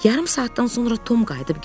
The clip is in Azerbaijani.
Yarım saatdan sonra Tom qayıdıb gəldi.